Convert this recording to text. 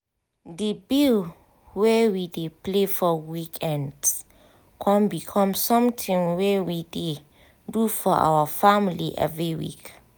the bill wey we play for weekends con become something wey we dey do for our family every week